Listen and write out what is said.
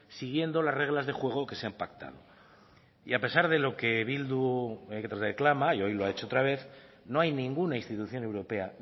siguiendo las reglas de juego que se han pactado y a pesar de lo que bildu reclama y hoy lo ha hecho otra vez no hay ninguna institución europea